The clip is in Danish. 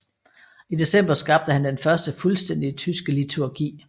I december skabte han den første fuldstændige tyske liturgi